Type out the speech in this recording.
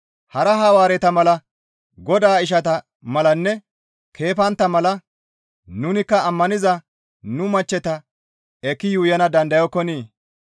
Hara Hawaareta mala Godaa ishata malanne keefantta mala nunikka ammaniza nu machcheta ekki yuuyana dandayokkonii?